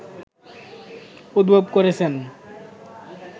উদ্ভব করেছেন